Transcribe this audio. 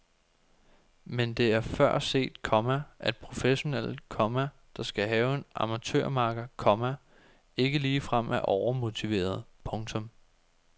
Men det er før set, komma at professionelle, komma der skal have en amatørmakker, komma ikke ligefrem er overmotiverede. punktum